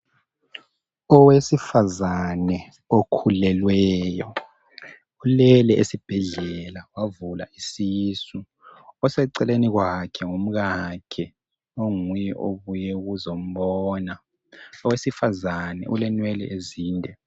Owesifazana okhulelweyo ulele esibhedlela wavula isisu oseceleni kwakhe ngumkakhe onguye obuye ukuzombona. Owesifazana ulenwele ezinde.